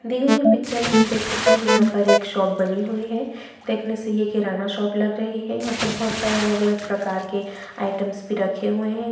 दिय गए पिक्चर में हम देख सकते है यहाँ पर एक शॉप बनी हुई है देखने से ये किराना शॉप लग रही है यहाँ पे बहुत सारे अलग-अलग प्रकार के आयटम्स भी रखे हुए हैं।